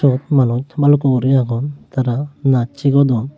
eyot manus baluko guri agon tara naj sigodon.